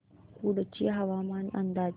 कुडची हवामान अंदाज